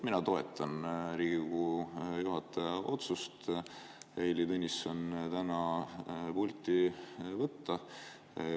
Mina toetan Riigikogu juhataja otsust Heili Tõnisson täna pulti võtta.